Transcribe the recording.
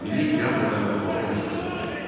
Milli teatr və mətbuatın əsası qoyuldu.